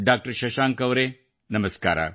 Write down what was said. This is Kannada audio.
ಡಾಕ್ಟರ್ ಶಶಾಂಕ್ ಅವರೇ ನಮಸ್ಕಾರ